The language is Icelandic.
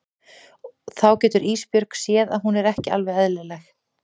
Og þá getur Ísbjörg séð að hún er ekki alveg eðlileg.